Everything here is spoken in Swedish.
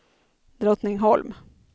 Drottningholm